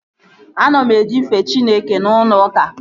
Ana m eje ife Chineke n'ụlọ ụka